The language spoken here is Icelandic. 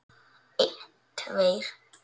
Einn tveir.